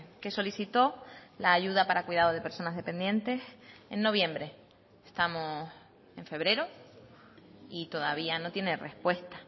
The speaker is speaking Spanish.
que solicitó la ayuda para cuidado de personas dependientes en noviembre estamos en febrero y todavía no tiene respuesta